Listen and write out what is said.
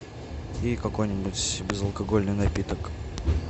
и какой нибудь безалкогольный напиток